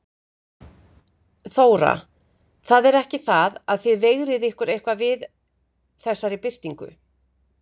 Þóra: Það er ekki það að þið veigrið ykkur eitthvað við þessari birtingu?